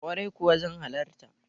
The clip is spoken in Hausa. Kwarai kuwa zan halarta.